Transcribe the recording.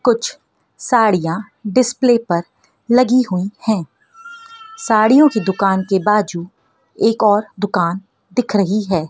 कुछ साड़ियां डिस्प्ले पर लगी हुई है साड़ियों की दुकान के बाजू एक और दुकान दिख रही है।